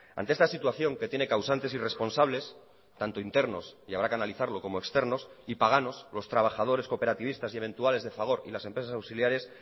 ante esta situación que tiene causantes y responsables tanto internos y habrá que analizarlo como externos y paganos los trabajadores cooperativistas y eventuales de fagor y las empresas auxiliares